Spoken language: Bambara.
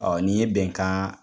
Ɔɔ ni ye bɛnkan